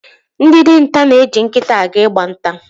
Ndị dinta na-eji nkịta aga Ị gba nta.